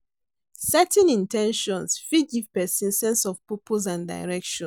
Setting in ten tions fit give pesin sense of purpose and direction.